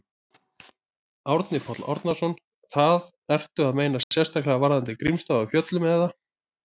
Árni Páll Árnason: Það, ertu að meina sérstaklega varðandi Grímsstaði á Fjöllum, eða?